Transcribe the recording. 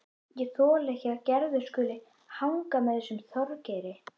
Ég þoli ekki að Gerður skuli hanga með þessum Þorgeiri.